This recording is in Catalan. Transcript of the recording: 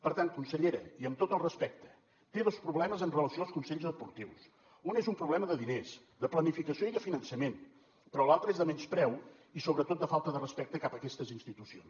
per tant consellera i amb tot el respecte té dos problemes amb relació als consells esportius un és un problema de diners de planificació i de finançament però l’altre és de menyspreu i sobretot de falta de respecte cap a aquestes institucions